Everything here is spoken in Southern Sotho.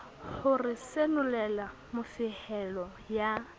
ho re senolela mofehelo ya